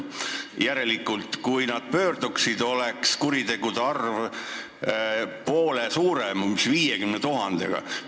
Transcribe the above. Järelikult, kui nad kõik pöörduksid, oleks kuritegude arv poole suurem, 50 000 ringis.